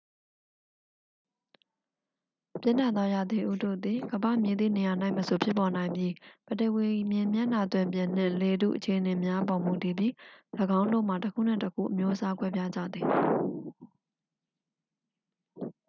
ပြင်းထန်သောရာသီဥတုသည် ကမ္ဘာ့မည်သည့်နေရာ၌မဆို ဖြစ်ပေါ်နိုင်ပြီး ပထဝီ မြေမျက်နှာသွင်ပြင်နှင့် လေထု အခြေအနေများအပေါ် မူတည်ပြီး ၎င်းတို့မှာ တစ်ခုနှင့်တစ်ခု အမျိုးအစားကွဲပြားကြသည်